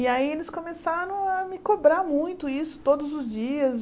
E aí eles começaram a me cobrar muito isso todos os dias.